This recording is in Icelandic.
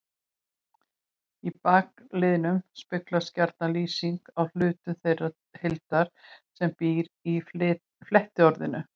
Í bakliðnum speglast gjarna lýsing á hlutum þeirrar heildar sem býr í flettiorðinu.